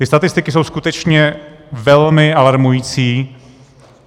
Ty statistiky jsou skutečně velmi alarmující.